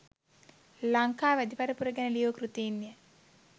ලංකා වැදි පරපුර ගැන ලියූ කෘතීන්ය.